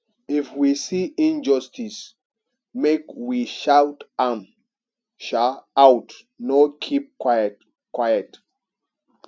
if we see injustice make we shout am um out no keep quiet quiet